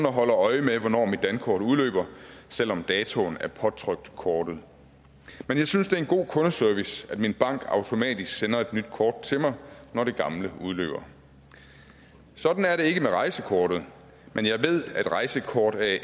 og holder øje med hvornår mit dankort udløber selv om datoen er påtrykt kortet og jeg synes det er en god kundeservice at min bank automatisk sender et nyt kort til mig når det gamle udløber sådan er det ikke med rejsekortet men jeg ved at rejsekort as